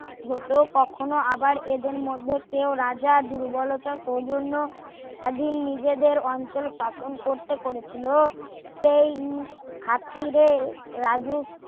হতো কখনো আবার এদের মধ্যে কেউ রাজা দুর্বলতা সৌজন্য খালি নিজেদের অঞ্চল শাসন করত করেছিল সেই খাতিরে